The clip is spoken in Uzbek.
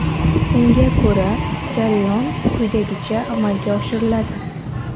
Unga ko‘ra, jarayon quyidagicha amalga oshiriladi.